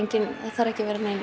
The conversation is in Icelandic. þarf ekki að vera nein